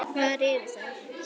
Hvar eru þær?